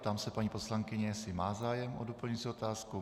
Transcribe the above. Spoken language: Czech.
Ptám se paní poslankyně, jestli má zájem o doplňující otázku.